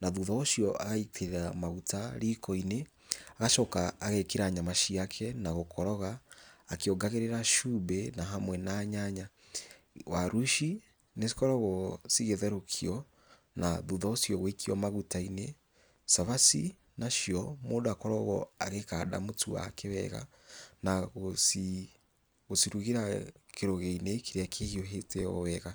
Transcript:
na thutha ũcio agaitĩrĩra maguta riko-inĩ, agacoka agekĩra nyama ciake na gũkoroga akĩongagĩrĩra cumbĩ na hamwe na nyanya. Waru ici nĩcikoragwo cigĩtherũkio na thutha ũcio gwĩikio maguta-inĩ. Cabaci nacio, mũndũ akoragwo agĩkanda mũtu wake wega, na gũcirugĩra kĩrũgĩo-inĩ kĩrĩa kĩhiũhĩte o wega.